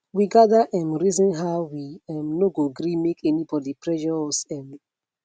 we gather um reason how we um no go gree make anybody pressure us um